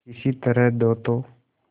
किसी तरह दो तो